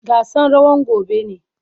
Gasan rawan gobe ne.